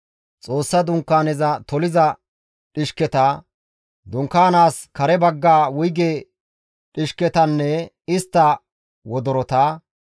Xoossa dunkaaneza toliza dhishketa, dunkaanaas kare bagga wuyge dhishketanne istta wodorota,